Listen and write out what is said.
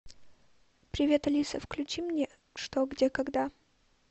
привет алиса включи мне что где когда